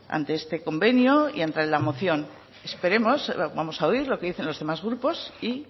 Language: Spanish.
ante este convenio y ante la moción vamos a oír lo que dicen los demás grupos y